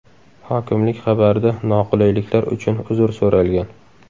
Hokimlik xabarida noqulayliklar uchun uzr so‘ralgan.